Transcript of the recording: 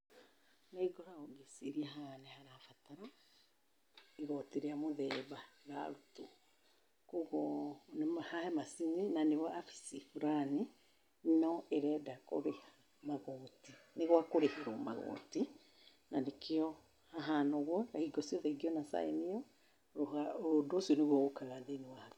Nĩ ngoragwo ngĩciria haha nĩ harabatara igoti rĩa mũthemba rĩrarutwo, koguo he macini na nĩ wabici fulani, no ĩrenda kũrĩha magoti. Nĩ gwa kũrĩhĩrwo magoti na nĩkĩo hahana ũguo na hingo ciothe ingĩona sign ĩyo, ũndũ ũcio nĩguo ũkaga thĩiniĩ wa hakiri.